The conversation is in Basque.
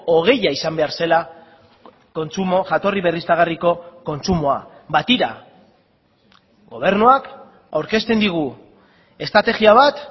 hogeia izan behar zela kontsumo jatorri berriztagarriko kontsumoa ba tira gobernuak aurkezten digu estrategia bat